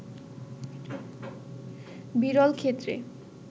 বিরল ক্ষেত্রে